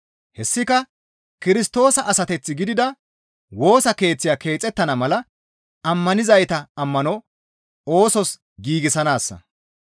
Hessika Kirstoosa asateth gidida Woosa Keeththiya keexettana mala ammanizayta ammano oosos giigsanaassa.